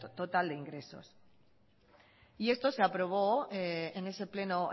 total de ingresos y esto se aprobó en ese pleno